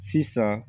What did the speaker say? Sisan